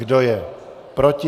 Kdo je proti?